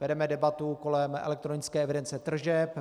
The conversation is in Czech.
Vedeme debatu kolem elektronické evidence tržeb.